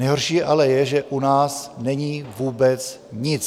Nejhorší ale je, že u nás není vůbec nic.